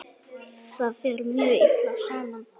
Ég sakna ykkar.